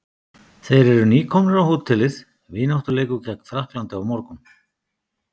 Þeir eru nýkomnir á hótelið, vináttuleikur gegn Frakklandi á morgun.